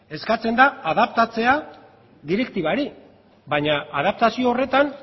eskatzen da adaptatzea direktibari baina adaptazio horretan